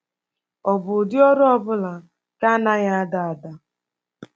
Ọ̀ bụ ụdị ọrụ ọ bụla nke anaghị ada ada?